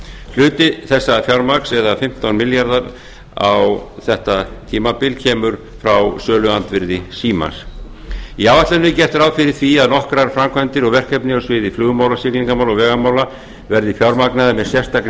hluti þessa fjármagns eða fimmtán milljarðar á þetta tímabil kemur frá söluandvirði símans eins áætlunin er gert ráð fyrir því að nokkrar framkvæmdir og verkefni á sviði flugmála siglingamála og vegamála verði fjármagnaðar með sérstakri